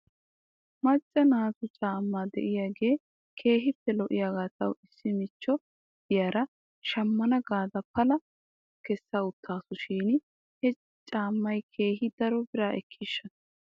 Macca naatu caamma de'iyaagee keehippe lo'iyaagaa taw issi michcho de'iyaara shammana gaada palabaa kessawttaasu shin he caammay keehi daro biraa ekkiishsha?